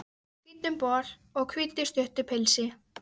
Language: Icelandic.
Í hvítum bol og hvítu, stuttu pilsi.